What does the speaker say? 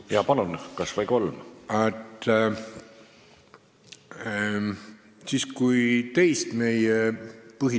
Jaa, palun, kas või kolm!